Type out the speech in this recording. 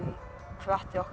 hvatti okkur